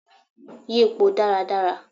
Yípọ́ dàrá dàrá